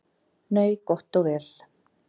Nei, gott og vel.